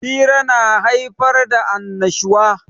Hira na haifar da annashuwa.